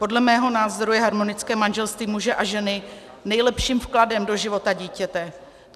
Podle mého názoru je harmonické manželství muže a ženy nejlepším vkladem do života dítěte.